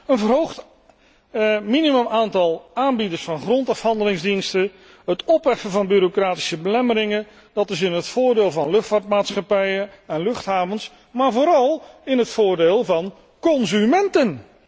Een verhoogd minimumaantal aanbieders van grondafhandelingsdiensten, het opheffen van bureaucratische belemmeringen, dat is in het voordeel van luchtvaartmaatschappijen en luchthavens, maar vooral in het voordeel van consumenten.